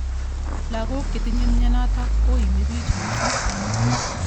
Lakok chetinyei mnyenotok koimibich missing.